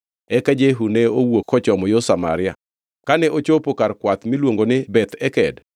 Eka Jehu ne owuok kochomo yo Samaria. Kane ochopo kar jokwath miluongo ni Beth Eked,